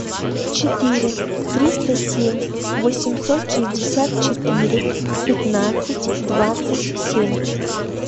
четыре триста семь восемьсот шестьдесят четыре пятнадцать двадцать семь